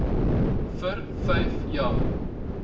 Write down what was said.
vir vyf jaar